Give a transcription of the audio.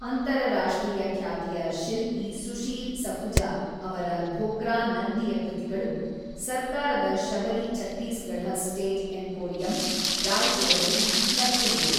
ಅಂತರರಾಷ್ಟ್ರೀಯ ಖ್ಯಾತಿಯ ಶಿಲ್ಪಿ ಸುಶೀಲ್ ಸಖುಜಾ ಅವರ ಧೋಕ್ರಾ ನಂದಿಯ ಕೃತಿಗಳು ಸರ್ಕಾರದ ಶಬರಿ ಛತ್ತೀಸ್‌ಗಢ ಸ್ಟೇಟ್ ಎಂಪೋರಿಯಂ, ರಾಯ್‌ಪುರದಲ್ಲಿ ಲಭ್ಯವಿವೆ.